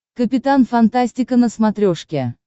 капитан фантастика на смотрешке